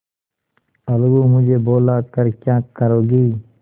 अलगूमुझे बुला कर क्या करोगी